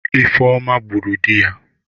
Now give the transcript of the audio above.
Ifeoma gburu di ya.